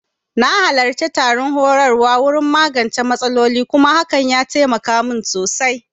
Na halarci taron horarwa wurin magance matsaloli kuma hakan ya taimaka min sosai